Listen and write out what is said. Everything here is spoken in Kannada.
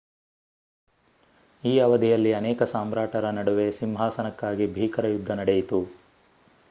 ಈ ಅವಧಿಯಲ್ಲಿ ಅನೇಕ ಸಾಮ್ರಾಟರ ನಡುವೆ ಸಿಂಹಾಸನಕ್ಕಾಗಿ ಭೀಕರ ಯುದ್ಧ ನಡೆಯಿತು